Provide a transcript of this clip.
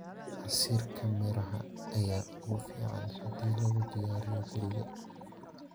Casiirka miraha ayaa ugu fiican haddii lagu diyaariyo guriga.